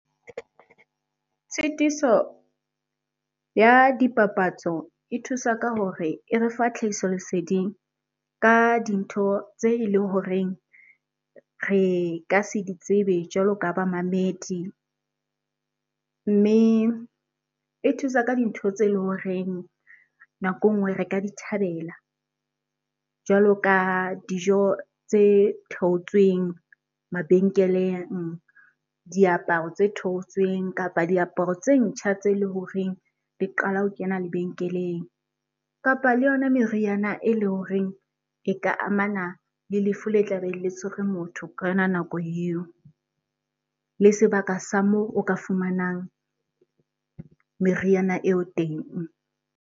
Tshitiso ya dipapatso e thusa ka hore e re fa tlhahiso leseding ka dintho tse eleng horeng re ka se ditsebe jwalo ka bamamedi. Mme e thusa ka dintho tse eleng horeng nako e nngwe re ka di thabela. Jwalo ka dijo tse theotsweng mabenkeleng, diaparo tse theotsweng kapa diaparo tse ntjha tse leng horeng di qala ho kena lebenkeleng. Kapa le yona meriana e le horeng e ka amana le lefu le tla be le tshwere motho ka yona nako eo. Le sebaka sa moo o ka fumanang meriana eo teng.